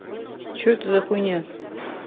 что это за хуйня